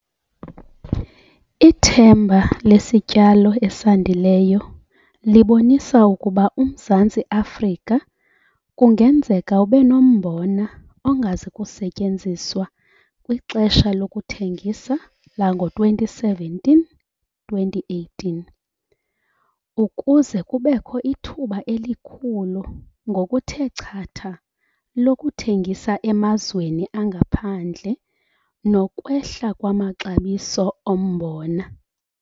Ithemba lesityalo esandileyo libonisa ukuba uMzantsi Afrika kungenzeka ube nombona ongazi kusetyenziswa kwixesha lokuthengisa lango-2017-2018, ukuze kubekho ithuba elikhulu ngokuthe chatha lokuthengisa emazweni angaphandle nokwehla kwamaxabiso ombona.